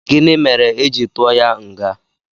Gịnị mere éjị tụọ ya nga?